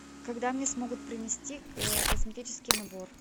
когда мне смогут принести косметический набор